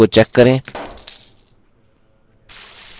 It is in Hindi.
original color box को check करें